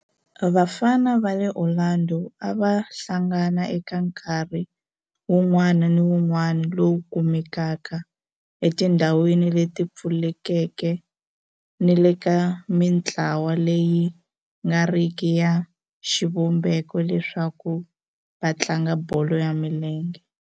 Vafana va le Orlando a va hlangana eka nkarhi wun'wana ni wun'wana lowu kumekaka etindhawini leti pfulekeke ni le ka mintlawa leyi nga riki ya xivumbeko leswaku va tlanga bolo ya milenge.